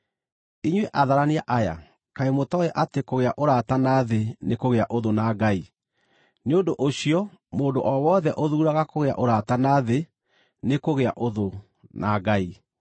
Inyuĩ atharania aya, kaĩ mũtooĩ atĩ kũgĩa ũrata na thĩ nĩ kũgĩa ũthũ na Ngai? Nĩ ũndũ ũcio mũndũ o wothe ũthuuraga kũgĩa ũrata na thĩ nĩkũgĩa ũthũ ya Ngai.